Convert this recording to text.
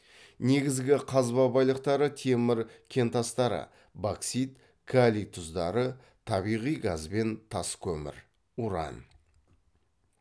негізгі қазба байлықтары темір кентастары боксит калий тұздары табиғи газ бен тас көмір уран